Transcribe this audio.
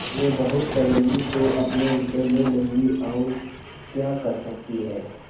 वे बहुत करेंगी तो अपने रुपये ले लेंगी और क्या कर सकती हैं